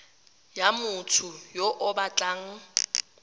ya motho yo o batlang